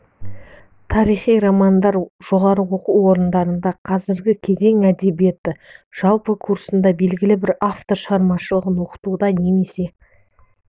тарихи романдар жоғары оқу орындарында қазіргі кезең әдебиеті жалпы курсында белгілі бір автор шығармашылығын оқытуда немесе